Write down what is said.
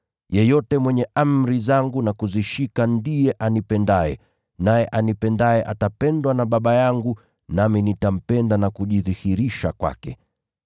Yeyote mwenye amri zangu na kuzishika ndiye anipendaye, naye anipendaye atapendwa na Baba yangu, nami nitampenda na kujidhihirisha kwake.”